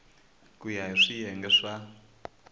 ku ya hi swiyenge swa